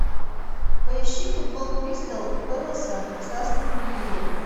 поищи футбол кристал пэласа с астон виллой